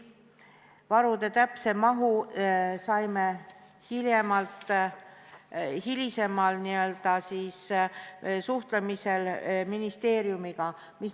Varude täpse mahu saime teada hilisemal suhtlemisel ministeeriumiga.